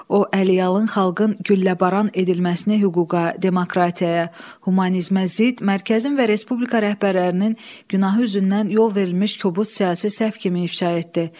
O əliyalın xalqın gülləbaran edilməsini hüquqa, demokratiyaya, humanizmə zid, mərkəzin və respublika rəhbərlərinin günahı üzündən yol verilmiş kobud siyasi səhv kimi ifşa etdi.